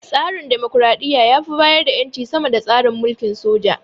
Tsarin dimokuraɗiyya ya fi bayar da ƴanci sama da tsarin mulkin soja.